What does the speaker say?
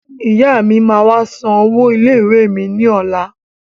Ìyá mi máa wá san owó ilé-ìwé mi lọ́la.